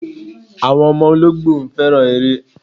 Àwọn ọmọ olóńgbò fẹ́ràn eré.